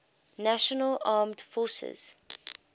national armed forces